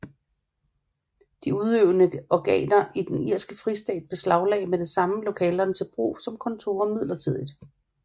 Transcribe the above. De udøvende organer i den irske fristat beslaglagde med det samme lokalerne til brug som kontorer midlertidigt